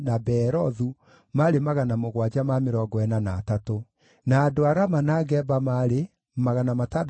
Nao Alawii maarĩ: a njiaro cia Jeshua (iria cioimĩte harĩ Kadimieli, rũciaro-inĩ rwa Hodavia) ciarĩ 74.